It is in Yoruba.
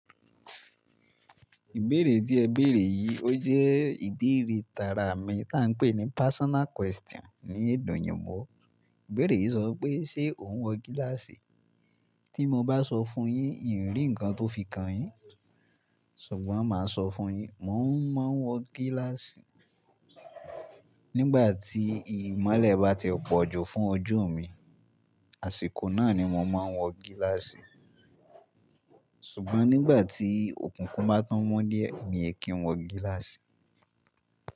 Ìbéèrè tí ẹ béèrè yìí ó jẹ́ ìbéèrè tara mi tá ń pè ní personal question ní ède oyìnbo. Ìbéèrè yìí sọ wi pé ṣe ò ń wọ gíláàsì? Tí mo bá sọ fún un yín n rì ǹkan tó fi kan yín, ṣùgbọ́n mà á sọ fún yín. Mò ń má ń wọ gíláàsì, nígbà tí ìmọ́lẹ̀ bá ti pọ̀jù fún ojú mi, àsìkò náà ni mò ń má ń wọ gíláàsì. Ṣùgbọ́n nígbà tí òkúnkún bá tun mọ́ díẹ̀ mi ò kí ń wọ gíláàsì.